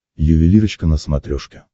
ювелирочка на смотрешке